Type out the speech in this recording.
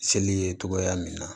Seli ye togoya min na